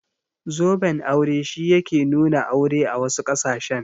Zoben aure shi yake nuna aure a wasu ƙasashen.